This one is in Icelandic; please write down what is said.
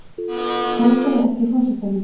Hótaði ekki forsetanum